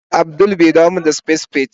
Abdul bai dawo min spad spade